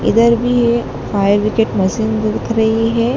इधर भी है फायर ब्रिगेड मशीन द दिख रही है।